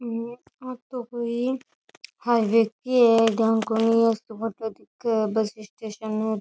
हे ओ तो कोई हाईवे की है जाने कोई ऐसी फोटो दिखे बस स्टेशन --